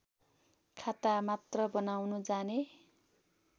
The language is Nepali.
खातामात्र बनाउन जाने